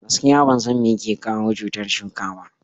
Gaskiya, ban san meyake kawo cutar a shuka ba.